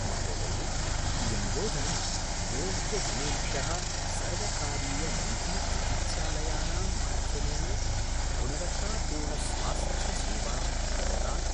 महोदये, इयं योजना योग्यजनेभ्यः सर्वकारीयनिजीचिकित्सालयानां माध्यमेन गुणवत्तापूर्णस्वास्थ्यसेवां प्रददाति।